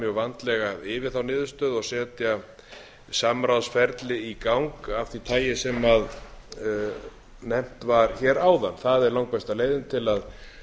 mjög vandlega yfir þá niðurstöðu og setja samráðsferli í gang af því tagi sem nefnt var hér áðan það er langbesta leiðin til að